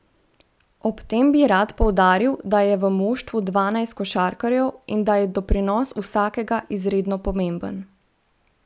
Ob tem bi rad poudaril, da je v moštvu dvanajst košarkarjev in da je doprinos vsakega izredno pomemben.